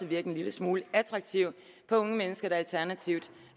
virket en lille smule attraktiv på unge mennesker der alternativt